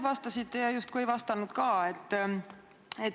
Vastasite ja justkui ei vastanud ka.